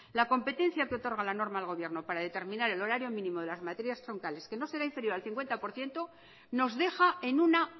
la competencia que otorga la norma al gobierno para determinar el horario mínimo de las materias troncales que no será inferior al cincuenta por ciento nos deja en una